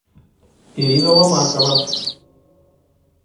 ирина ломакова